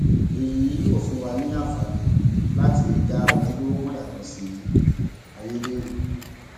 èyí yóò fún wa ní àǹfààní láti dá ojúlówó mọ yàtọ sí ayédèrú